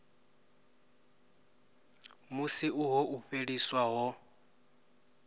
musi uho u fheliswa ho